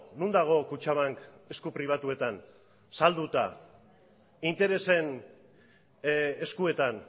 non dago kutxabank esku pribatuetan salduta interesen eskuetan